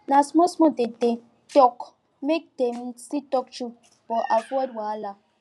na smallsmall dem take talk make dem still talk true but avoid wahala